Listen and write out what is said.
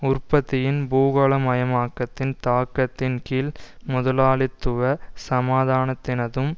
உற்பத்தியின் பூகோளமயமாக்கத்தின் தாக்கத்தின் கீழ் முதலாளித்துவ சமாதானத்தினதும்